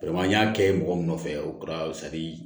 n y'a kɛ mɔgɔ min nɔfɛ o kɛra